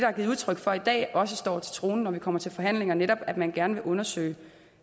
er givet udtryk for i dag også står til troende når vi kommer til forhandlingerne netop at man gerne vil undersøge